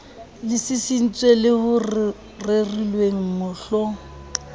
le sisintsweng le rerilweng mohl